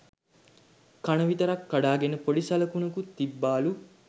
කන විතරක් කඩාගෙන පොඩි සළකුණකුත් තිබ්බාලු